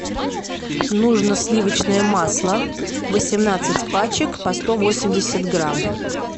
нужно сливочное масло восемнадцать пачек по сто восемьдесят грамм